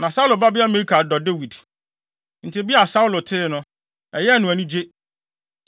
Na Saulo babea Mikal dɔ Dawid, enti bere a Saulo tee no, ɛyɛɛ no anigye.